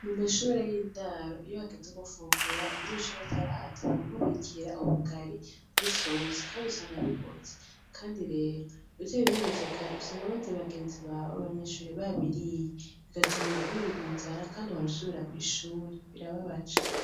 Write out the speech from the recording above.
Mu mashure y'indaro iyo hageze gufungura umunyenshuri ataraza baramubikira ubugari n'isosi, kandi usanga bihoze, kandi rero utabinyarukije kare usanga abandi bagenzi bawe b'abanyeshure babiriye bigatuma wirigwa inzara, kandi ukabusubira kw'ishuri birababaje.